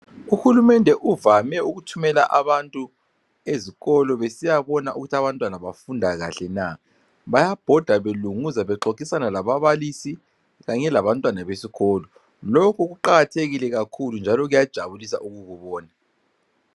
Uhulumende uvame ukuthumela abantu ezikolo besiyabona ukuthi abantwana bafunda kahle na bayabhoda belunguza bexoxisana lababalisi kanye labantwana besikolo lokhu kuqakathekile kakhulu njalo kuyajabulisa ukukubona .